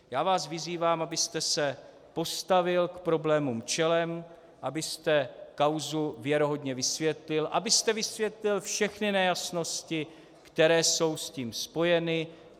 Já vás vyzývám, abyste se postavil k problémům čelem, abyste kauzu věrohodně vysvětlil, abyste vysvětlil všechny nejasnosti, které jsou s tím spojeny.